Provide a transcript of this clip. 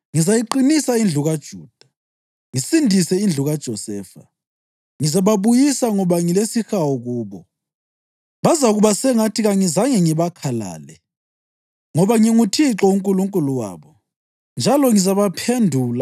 Ngizayiqinisa indlu kaJuda, ngisindise indlu kaJosefa. Ngizababuyisa ngoba ngilesihawu kubo. Bazakuba sengathi kangizange ngibakhalale, ngoba nginguThixo uNkulunkulu wabo njalo ngizabaphendula.